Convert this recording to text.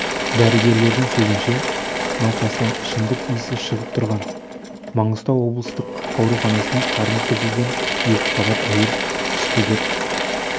дәрігерлердің сөзінше науқастан ішімдік иісі шығып тұрған маңғыстау облыстық ауруханасына қарны тілінген екіқабат әйел түсті деп